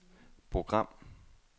program